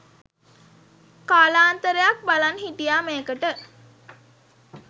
කාලාන්තරයක් බලන් හිටියා මේකට